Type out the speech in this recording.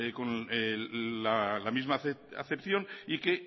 con la misma acepción y que